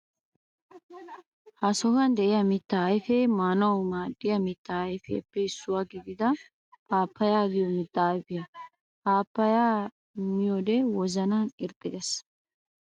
Ha sohuwan de'iya mittaa ayfee maanawu maaddiya mittaa ayfetuppe issuwa gidida paappaya giyo mittaa ayfiya. Paappaya miyo wode wozanan irxxi geesi.